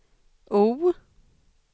O